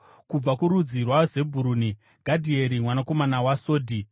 kubva kurudzi rwaZebhuruni, Gadhieri mwanakomana waSodhi;